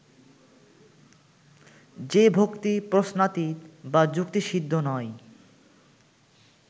যে-ভক্তি প্রশ্নাতীত বা যুক্তিসিদ্ধ নয়